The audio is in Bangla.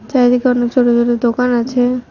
চারিদিকে অনেক ছোট ছোট দোকান আছে।